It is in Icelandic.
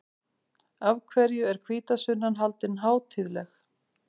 Af hverju er hvítasunnan haldin hátíðleg?